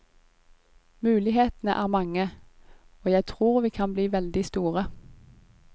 Mulighetene er mange, og jeg tror vi kan bli veldig store.